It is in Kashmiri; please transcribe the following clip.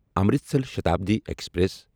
امرتسر شتابدی ایکسپریس